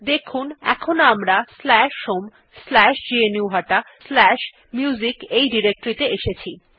দেখুন এখন আমরা homegnuhataMusic ত়ে এসেছি